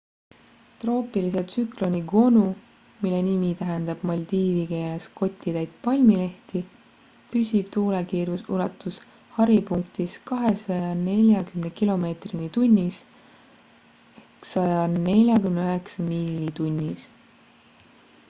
troopilise tsükloni gonu mille nimi tähendab maldiivi keeles 'kotitäit palmilehti' püsiv tuulekiirus ulatus haripunktis 240 kilomeetrini tunnis 149 miili tunnis